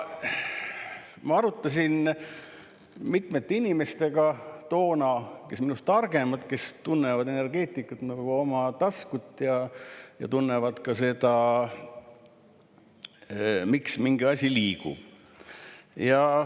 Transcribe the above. Ma arutasin seda toona mitmete inimestega, kes on minust targemad, kes tunnevad energeetikat nagu oma taskut ja tunnevad ka seda, miks mingi asi liigub.